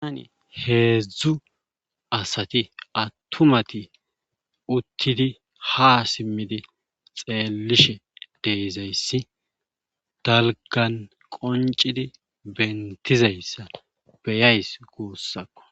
Heedzdzu asati attumati uttidi ha simidi xeeelishe de'izayssi dalggan qonccidi bentidayssa beyays guusakko.